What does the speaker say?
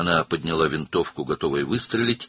O, atəş açmağa hazır olaraq tüfəngi qaldırdı.